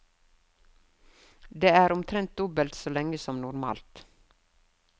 Det er omtrent dobbelt så lenge som normalt.